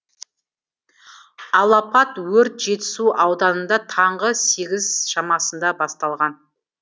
алапат өрт жетісу ауданында таңғы сегіз шамасында басталған